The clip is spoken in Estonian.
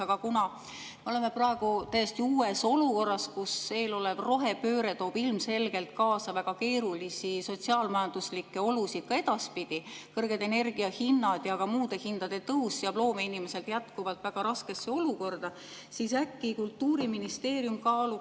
Aga kuna me oleme praegu täiesti uues olukorras, kus eelolev rohepööre toob ilmselgelt kaasa väga keerulisi sotsiaal-majanduslikke olusid ka edaspidi, kõrged energiahinnad ja ka muude hindade tõus seab loomeinimesed jätkuvalt väga raskesse olukorda, siis äkki Kultuuriministeerium kaaluks.